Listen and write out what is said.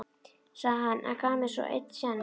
sagði hann, en gaf mér svo einn séns.